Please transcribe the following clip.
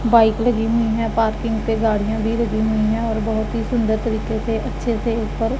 bike लगी हुई है पार्किंग पे गाड़ियां भी लगी हुई है और बहोत ही सुंदर तरीके से अच्छे से ऊपर --